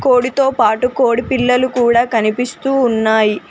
కోడితో పాటు కోడి పిల్లలు కూడా కనిపిస్తూ ఉన్నాయి.